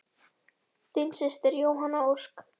Þín systir Jóhanna Ósk.